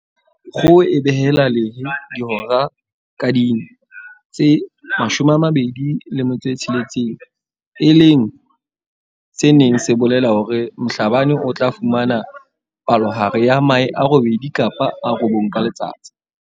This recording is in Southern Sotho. Kgoho e behela lehe dihora ka ding tse 26, e leng se neng se bolela hore Mhlabane o tla fumana palohare ya mahe a robedi kapa a robong ka letsatsi.